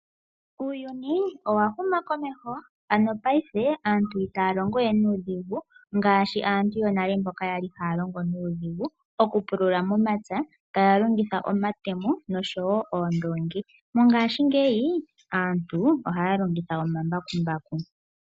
Uuyuni owa huma komeho, mongaashingeyi aantu ita ya longowe nuudhigu ngaashi aantu yonale mboka ya li ha ya longo nuudhigu okupulula momapya ta ya longitha omatemo oshowo oondoongi. Mongaashingeyi aantu oha ya longitha omambakumbaku.